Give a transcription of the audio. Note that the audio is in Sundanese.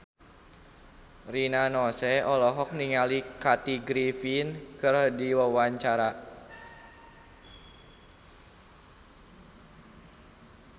Rina Nose olohok ningali Kathy Griffin keur diwawancara